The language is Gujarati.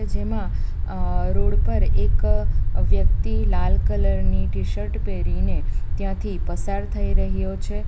જેમાં રોડ પર એક વ્યક્તિ લાલ કલર ની ટી_શર્ટ પહેરીને ત્યાંથી પસાર થઈ રહ્યો છે.